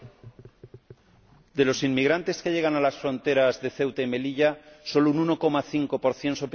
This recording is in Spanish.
De los inmigrantes que llegan a las fronteras de Ceuta y Melilla, solo un 1,5 son peticionarios de asilo.